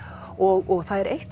og það er eitt